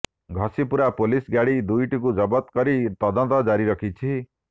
Ghasipura police ଗାଡି ଦୁଇଟିକୁ ଜବତ କରି ତଦନ୍ତ ଜାରି ରଖିଛି